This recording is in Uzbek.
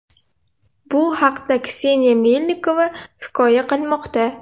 Bu haqda Kseniya Melnikova hikoya qilmoqda .